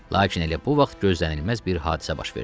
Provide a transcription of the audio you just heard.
Lakin elə bu vaxt gözlənilməz bir hadisə baş verdi.